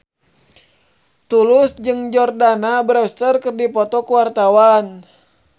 Tulus jeung Jordana Brewster keur dipoto ku wartawan